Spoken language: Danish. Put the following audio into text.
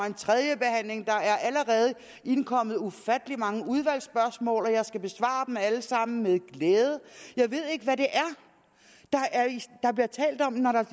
en tredje behandling der er allerede indkommet ufattelig mange udvalgsspørgsmål og jeg skal besvare dem alle sammen med glæde jeg ved ikke hvad der bliver talt om når der